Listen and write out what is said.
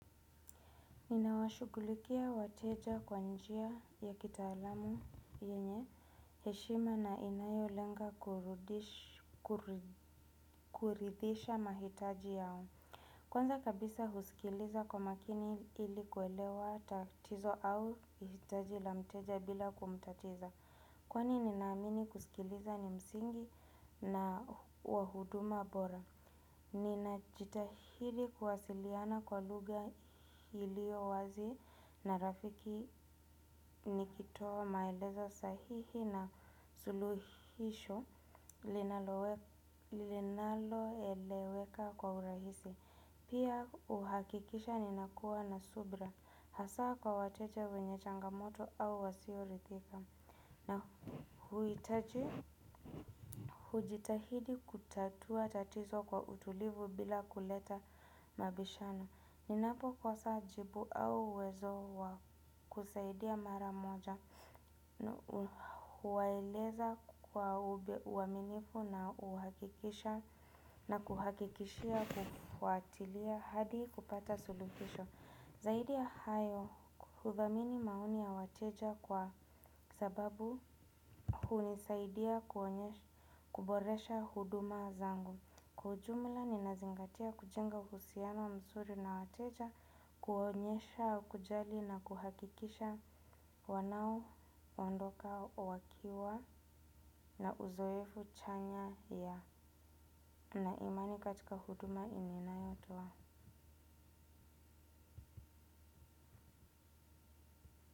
Ninawashughulikia wateja kwa njia ya kitaalamu yenye, heshima na inayolenga kuridhisha mahitaji yao. Kwanza kabisa husikiliza kwa makini ili kuelewa tatizo au hitaji la mteja bila kumtatiza. Kwani ninaamini kusikiliza ni msingi na wa huduma bora. Ninajitahidi kuwasiliana kwa lugha iliowazi na rafiki nikitoa maelezo sahihi na suluhisho linaloeleweka kwa urahisi. Pia uhakikisha ninakuwa na subra. Hasaa kwa wateja wenye changamoto au wasioridhika. Na huitaji hujitahidi kutatua tatizo kwa utulivu bila kuleta mabishano. Ninapokosa jibu au uwezo wa kusaidia mara moja huwaeleza kwa uaminifu na uhakikisha na kuhakikishia kufuatilia hadi kupata suluhisho. Zaidi ya hayo hudhamini maoni ya wateja kwa sababu hunisaidia kuboresha huduma zangu. Kwa ujumla ninazingatia kujenga uhusiano mzuri na wateja, kuonyesha, kujali na kuhakikisha wanaondoka wakiwa na uzoefu chanya yana imani katika huduma yenye ninayotoa.